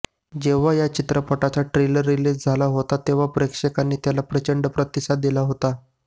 जेव्हा या चित्रपटाचा ट्रेलर रिलीज झाला तेव्हा प्रेक्षकांनी त्याला प्रचंड प्रतिसाद दिला होता